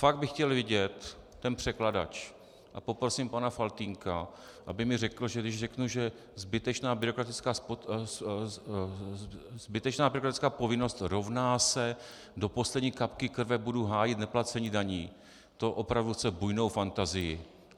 Fakt bych chtěl vidět ten překladač a poprosím pana Faltýnka, aby mi řekl, že když řeknu, že zbytečná byrokratická povinnost rovná se do poslední kapky krve budu hájit neplacení daní, to opravdu chce bujnou fantazii.